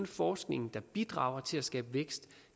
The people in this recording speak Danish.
forskningen der bidrager til at skabe vækst